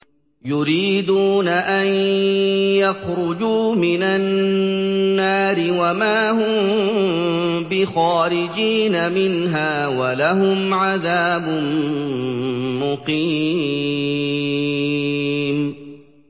يُرِيدُونَ أَن يَخْرُجُوا مِنَ النَّارِ وَمَا هُم بِخَارِجِينَ مِنْهَا ۖ وَلَهُمْ عَذَابٌ مُّقِيمٌ